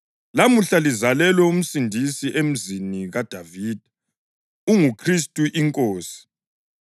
Lamuhla lizalelwe uMsindisi emzini kaDavida; unguKhristu iNkosi.